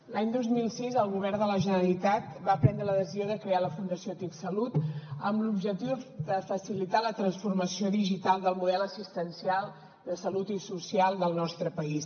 l’any dos mil sis el govern de la generalitat va prendre la decisió de crear la fundació tic salut amb l’objectiu de facilitar la transformació digital del model assistencial de salut i social del nostre país